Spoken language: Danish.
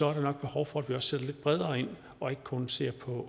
er der nok behov for at sætte lidt bredere ind og ikke kun se på